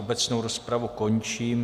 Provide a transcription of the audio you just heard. Obecnou rozpravu končím.